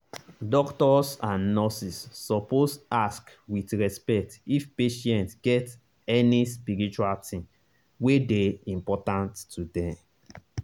doctors and nurses suppose ask with respect if patient get any spiritual thing wey dey important to them.